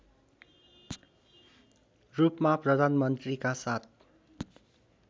रूपमा प्रधानमन्त्रीका साथ